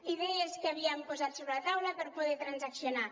idees que havíem posat sobre la taula per poder transaccionar